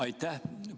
Aitäh!